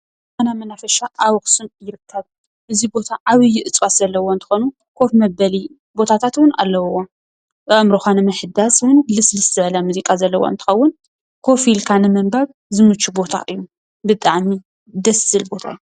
ኢዛና መናፈሻ አብ አክሱም ይርከብ፡፡ እዚ ቦታ ዓብይ እፅዋት ዘለዉዎ እንትኾን ዓብይ ኮፍ መበሊ ቦታታት እውን አለዎ፡፡ አእምሮካ ንምሕዳስን ልስልስ ዝበለ ሙዚቃ ዘለዎ እንትኸውን ኮፍ ኢልካ ንምንባብ ዝምቹ ቦታ እዩ፡፡ ብጣዕሚ ደስ ዝብል ቦታ እዩ፡፡